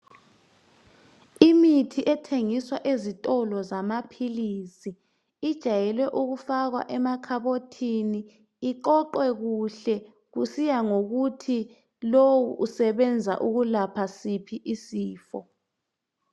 Imithi ethengiswa ezitolo zamaphilisi ijayelwe ukufakwa emakhabothini iqoqwe kuhle kusiya ngokuthi lowu usebenza ukuyelapha siphi isifo.